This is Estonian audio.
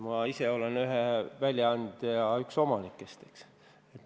Ma olen ise ühe väljaande üks omanikke.